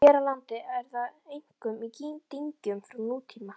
Hér á landi er það einkum í dyngjum frá nútíma.